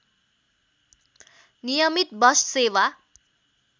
नियमित बस सेवा